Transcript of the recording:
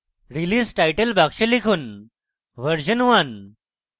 release title box লিখুন: version one